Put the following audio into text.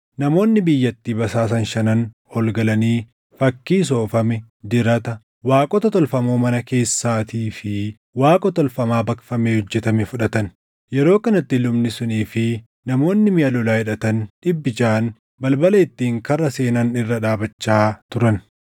Namoonni biyyattii basaasan shanan ol galanii fakkii soofame, dirata, waaqota tolfamoo mana keessaatii fi Waaqa tolfamaa baqfamee hojjetame fudhatan. Yeroo kanatti lubni sunii fi namoonni miʼa lolaa hidhatan dhibbi jaʼaan balbala ittiin karra seenan irra dhaabachaa turan.